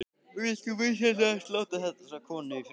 Vilt þú vinsamlegast láta þessa konu í friði!